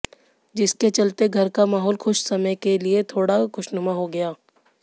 जिसके चलते घर का माहौल खुश समय के लिए थोड़ा खुशनुमा हो गया